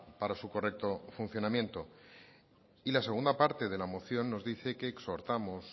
para su correcto funcionamiento y la segunda parte de la moción nos dice que exhortamos